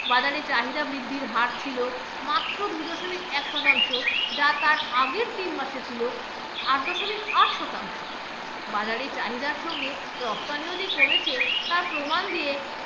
বাজারে চাহিদা বৃদ্ধির হার ছিল মাত্র দু দশমিক এক শতাংশ যা তার আগের তিন মাসে ছিল আট দশমিক আট শতাংশ, বাজারে চাহিদার সঙ্গে রপ্তানিও যে কমেছে তার প্রমাণ দিয়ে